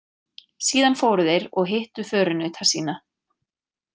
Síðan fóru þeir og hittu förunauta sína.